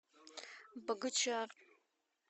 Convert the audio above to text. богучар